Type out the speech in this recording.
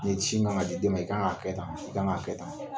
Ne cin ŋa ka di den ma, i kan ŋ'a kɛ tan, i kan ŋ'a kɛ tan.